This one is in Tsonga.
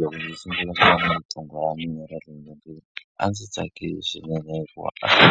Loko ndzi sungula ku va na riqingho ra mina ra le nyongeni a ndzi tsakile swinene hikuva a ndzi